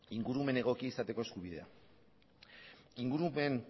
ingurumen egokia izateko eskubidea ingurumen